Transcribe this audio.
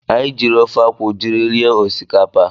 Anyị jiiri ofe akwụ jiri rie osikapa.